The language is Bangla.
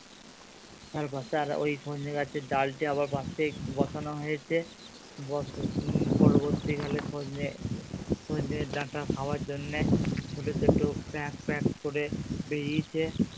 আর ওই শোচনী গাছের ডালটি আবার পাশেই বসানো হয়েছে পরবর্তী কালে সচনে, সচনে ডাটা খাবার জন্যে ছোটো ছোটো করে বেরিয়েছে।